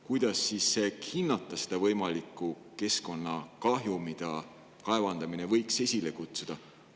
Kuidas siis hinnata seda võimalikku keskkonnakahju, mida kaevandamine võib esile kutsuda?